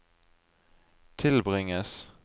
tilbringes